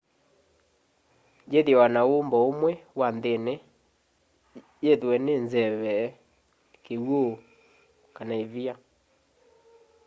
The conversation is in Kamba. yithiawa na umbo umwe wa nthini yithw'e ni nzeve kiw'u kana ivia